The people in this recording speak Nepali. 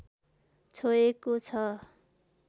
छोएको छ